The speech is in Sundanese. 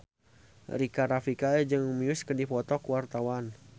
Rika Rafika jeung Muse keur dipoto ku wartawan